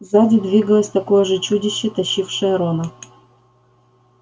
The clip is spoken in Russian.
сзади двигалось такое же чудище тащившее рона